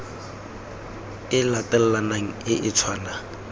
e latelanang e e tshwanang